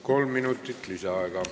Kolm minutit lisaaega.